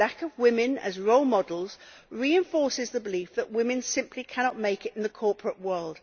The lack of women as role models reinforces the belief that women simply cannot make it in the corporate world.